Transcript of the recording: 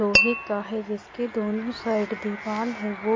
लोहे का है जिसके दोनों साइड दीवार है ।